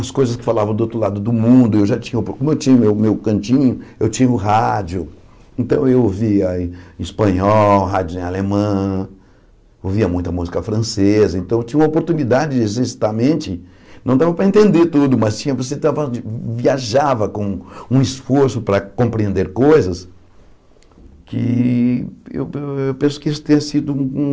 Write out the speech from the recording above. as coisas que falavam do outro lado do mundo, eu já tinha, como eu tinha o meu cantinho, eu tinha o rádio, então eu ouvia em espanhol, rádio em alemã, ouvia muita música francesa, então eu tinha uma oportunidade, de exercitar a mente, não dava para entender tudo, mas tinha você estava viajava com um esforço para compreender coisas, que eu pen eu penso que isso tenha sido um...